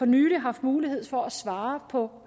nylig haft mulighed for at svare på